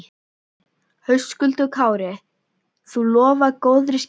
Höskuldur Kári: Þú lofar góðri skemmtun?